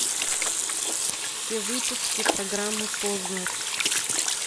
все выпуски программы познер